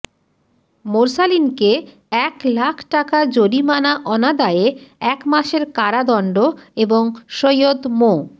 মোরসালিনকে এক লাখ টাকা জরিমানা অনাদায়ে এক মাসের কারাদণ্ড এবং সৈয়দ মো